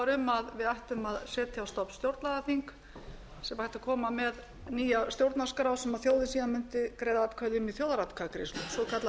var um að við ættum að setja á stofn stjórnlagaþing síðan væri hægt að koma með nýja stjórnarskrá sem þjóðin síðan mundi greiða atkvæði um í þjóðaratkvæðagreiðslu svokallað